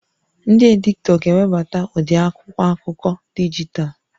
Ndị editọ ga-ewebata ụdị akwụkwọ akụkọ dijitalụ